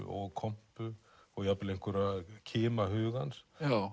og kompu og jafnvel einhverja kima hugans